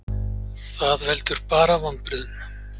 Það veldur bara vonbrigðum.